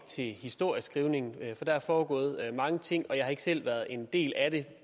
til historieskrivningen for der er foregået mange ting og jeg har ikke selv været en del af det